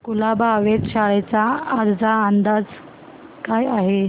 कुलाबा वेधशाळेचा आजचा अंदाज काय आहे